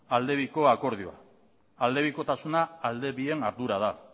alde biko akordioa aldebikotasuna alde bien ardura da